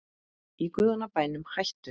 Í guðanna bænum hættu